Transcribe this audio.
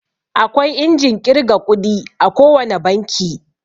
Akwai injin ƙirga ƙudi a ko wane banki.